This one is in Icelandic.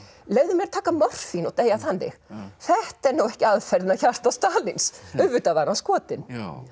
leyfðu mér að taka morfín og deyja þannig þetta er nú ekki aðferðin að hjarta Stalíns auðvitað var hann skotinn